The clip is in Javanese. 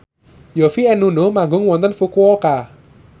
Yovie and Nuno manggung wonten Fukuoka